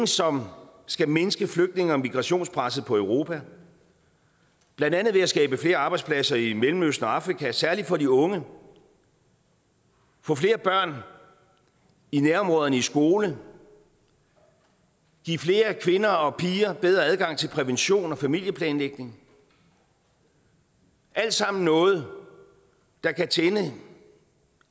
som skal mindske flygtninge og migrationspresset på europa blandt andet ved at skabe flere arbejdspladser i mellemøsten og afrika særlig for de unge få flere børn i nærområderne i skole give flere kvinder og piger bedre adgang til prævention og familieplanlægning alt sammen noget der kan tænde